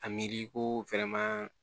A miiri ko